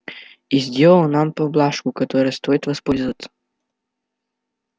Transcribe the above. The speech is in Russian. и сделал нам поблажку которой стоит воспользоваться